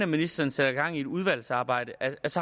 ministeren sætter gang i et udvalgsarbejde